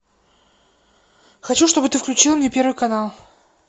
хочу чтобы ты включил мне первый канал